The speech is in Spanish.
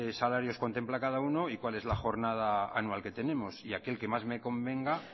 salarios contempla cada uno y cuál es la jornada anual que tenemos y aquel que más me convenga